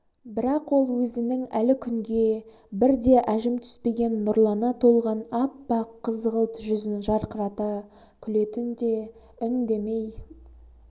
бірақ ол өзінің әлі күнге бір де әжім түспеген нұрлана толған аппақ қызғылт жүзін жарқырата күлетін де үндемей